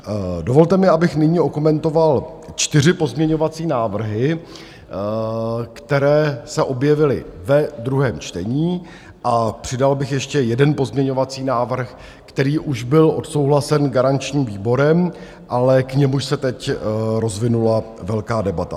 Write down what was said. Dovolte mi, abych nyní okomentoval čtyři pozměňovací návrhy, které se objevily ve druhém čtení, a přidal bych ještě jeden pozměňovací návrh, který už byl odsouhlasen garančním výborem, ale k němuž se teď rozvinula velká debata.